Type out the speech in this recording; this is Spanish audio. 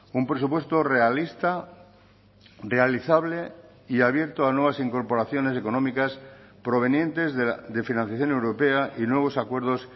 un presupuesto realista realizable y abierto a nuevas incorporaciones económicas provenientes de financiación europea y nuevos acuerdos